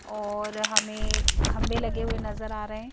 और हमें खंबे लगे हुए नजर आ रहे हैं।